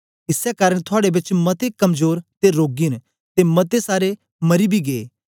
इसै कारन थुआड़े बेच मते कमजोर ते रोगी न ते मते सारे मरी बी गै